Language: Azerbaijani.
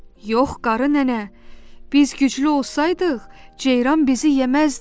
Yox qarı nənə, biz güclü olsaydıq, ceyran bizi yeməzdi.